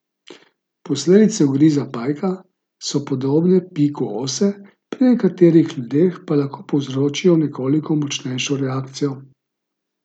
Posledice ugriza pajka so podobne piku ose, pri nekaterih ljudeh pa lahko povzročijo nekoliko močnejšo reakcijo.